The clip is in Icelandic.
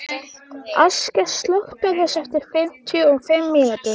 Askja, slökktu á þessu eftir fimmtíu og fimm mínútur.